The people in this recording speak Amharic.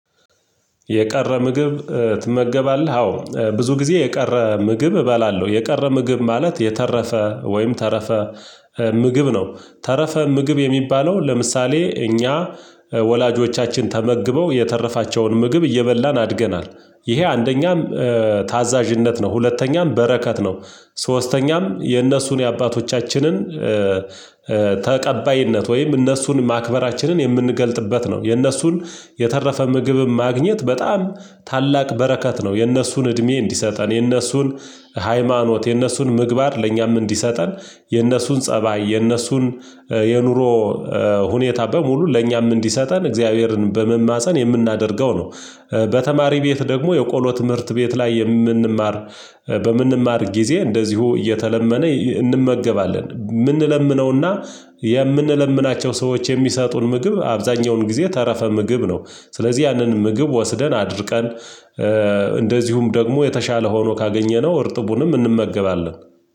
የቀረ ምግብ ትመገባለህ አዎ ብዙ ጊዜ የቀረ ምግብ እበላለሁ። የቀረ ምግብ ማለት የተረፈ ወይም ተረፈ ምግብ ነው ተረፈ ምግብ የሚባለው። ለምሳሌ እኛ ወላጆቻችን ተመግበው የተረፋቸውን ምግብ እየበላን አድገናል። ይሄ አንደኛም ታዛዥነት ነው ሁለተኛም በረከት ነው። ሶስተኛም የእነሱን የአባቶቻችንን ተቀባይነት ወይም እነሱን ማክበራችንን የምንገልጥበት ነው። የነሱን የተረፈ ምግብ ማግኘት በጣም ታላቅ በረከት ነው። የእነሱን እድሜ እንዲሰጠን የእነሱን ሃይማኖት የእነሱን ምግባር ለእኛም እንዲሰጠን የእነሱን ፀባይ የእነሱን የኑሮ ሁኔታ በሙሉ ለእኛም እንዲሰጠን እግዚአብሔርን በመማፀን የምናደርገው ነው። በተማሪ ቤት ደግሞ የቆሎ ትምህርት ቤት ላይ የምንማር በምንማር ጊዜ እንደዚሁ እየተለመነ እንመገባለን የምንለምነውና የምንለምናቸው ሰዎች የሚሰጡን ምግብ አብዛኛውን ጊዜ ተረፈ ምግብ ነው። ስለዚህ ያንን ምግብ ወስደን አድርቀን እንደዚሁም ደግሞ የተሻለ ሆኖ ካገኘነው እርጥቡንም እንመገባለን።